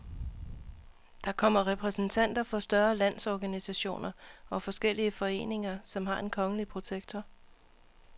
Der kommer repræsentanter for større landsorganisationer og forskellige foreninger, som har en kongelige protektor.